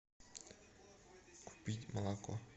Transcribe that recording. купить молоко